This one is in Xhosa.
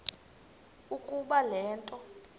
ukuba le nto